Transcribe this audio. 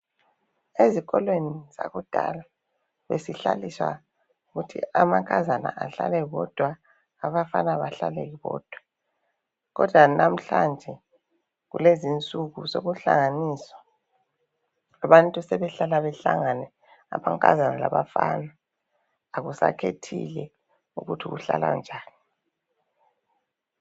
Ezikolweni zakudala besihlaliswa kuthi amankazana ahlale bodwa abafana bahlale bodwa kodwa namhlanje kulezi nsuku sokuhlanganiswa abantu sebehlala behlangane amankazana labafana akusakhethile ukuthi uhlala njani